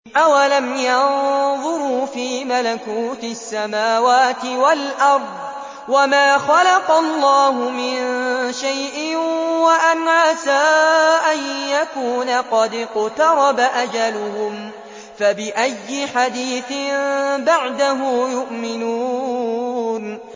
أَوَلَمْ يَنظُرُوا فِي مَلَكُوتِ السَّمَاوَاتِ وَالْأَرْضِ وَمَا خَلَقَ اللَّهُ مِن شَيْءٍ وَأَنْ عَسَىٰ أَن يَكُونَ قَدِ اقْتَرَبَ أَجَلُهُمْ ۖ فَبِأَيِّ حَدِيثٍ بَعْدَهُ يُؤْمِنُونَ